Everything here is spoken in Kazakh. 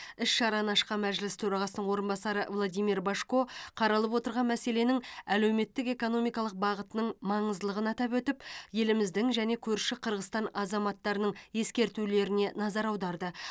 іс шараны ашқан мәжіліс төрағасының орынбасары владимир божко қаралып отырған мәселенің әлеуметтік экономикалық бағытының маңыздылығын атап өтіп еліміздің және көрші қырғызстан азаматтарының ескертулеріне назар аударды